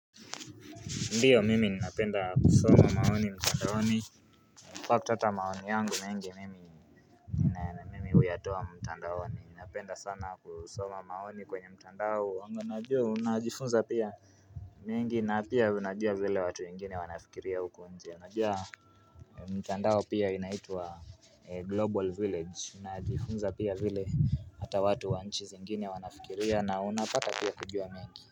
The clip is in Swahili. Ndiyo mimi ninapenda kusoma maoni mtandao ni Kwa kutata maoni yangu mengi mimi uYatoa mtandao ni ninapenda sana kusoma maoni kwenye mtandao wangu najua unajifunza pia mengi na pia unajua vile watu ingine wanafikiria uko nje anajua mtandao pia inaitwa global village unajifunza pia vile hata watu wanchi zingine wanafikiria na unapata pia kujua mengi.